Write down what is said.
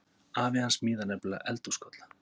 Afi hans smíðar nefnilega eldhúskolla.